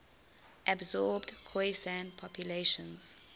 absorbed khoisan populations